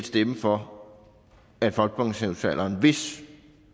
stemme for at folkepensionsalderen hvis